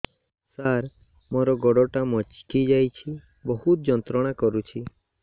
ସାର ମୋର ଗୋଡ ଟା ମଛକି ଯାଇଛି ବହୁତ ଯନ୍ତ୍ରଣା କରୁଛି